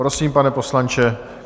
Prosím, pane poslanče.